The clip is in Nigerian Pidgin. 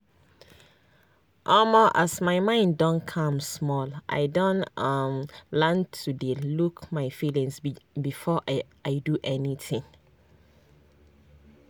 omo as my mind don calm small i don um learn to dey look my feelings before i do anything.